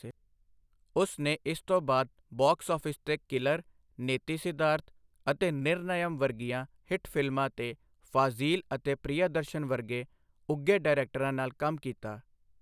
ਉਸ ਨੇ ਇਸ ਤੋਂ ਬਾਅਦ ਬਾਕਸ ਆਫਿਸ ਤੇ ਕਿਲਰ, ਨੇਤੀ ਸਿਧਾਰਥ ਅਤੇ ਨਿਰਨਯਮ ਵਰਗੀਆਂ ਹਿੱਟ ਫਿਲਮਾਂ ਤੇ ਫਾਜ਼ੀਲ ਅਤੇ ਪ੍ਰਿਯਦਰਸ਼ਨ ਵਰਗੇ ਉੱਘੇ ਡਾਇਰੈਕਟਰਾਂ ਨਾਲ ਕੰਮ ਕੀਤਾ।